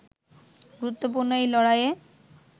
গুরুত্বপূর্ণ এই লড়াইয়ে